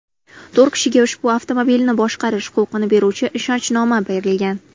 To‘rt kishiga ushbu avtomobilni boshqarish huquqini beruvchi ishonchnoma berilgan.